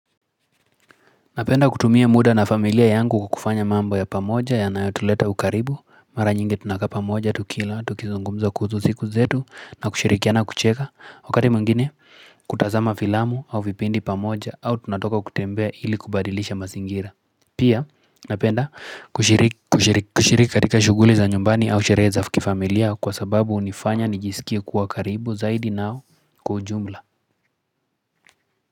Napenda kutumia muda na familia yangu kufanya mambo ya pamoja yanayotuleta ukaribu. Mara nyingi tunakaa pamoja tukila, tukizungumza kuhusu siku zetu na kushirikiana kucheza. Wakati mwingine kutazama filamu au vipindi pamoja au tunatoka kutembea hili kubadilisha mazingira. Pia napenda kushiriki katika shughuli za nyumbani au sherehe za kifamilia kwa sababu hunifanya nijisikie kuwa karibu zaidi nao kwa ujumla.